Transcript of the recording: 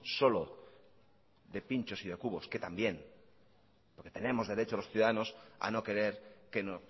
solo de pinchos y de cubos que también por que tenemos derecho los ciudadanos a no querer que no